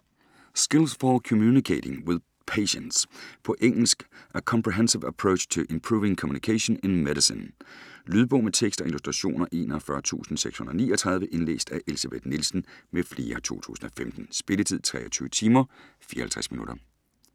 Skills for communicating with patients På engelsk. A comprehensive approach to improving communication in medicine. Lydbog med tekst og illustrationer 41639 Indlæst af Elsebeth Nielsen m.fl, 2015. Spilletid: 23 timer, 54 minutter.